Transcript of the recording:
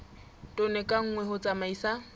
tone ka nngwe ho tsamaisa